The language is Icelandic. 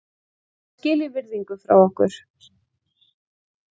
Hann á skilið virðingu frá okkur.